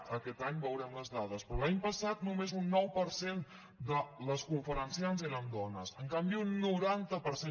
aquest any veurem les dades però l’any passat només un nou per cent de les conferenciants eren dones en canvi un noranta per cent